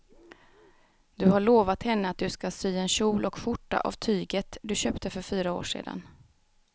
Du har lovat henne att du ska sy en kjol och skjorta av tyget du köpte för fyra år sedan.